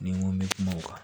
Ni n ko n bɛ kuma o kan